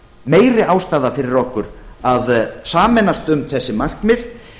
meiri ástæða fyrir okkur að sameinast um þessi markmið